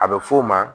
A bɛ f'o ma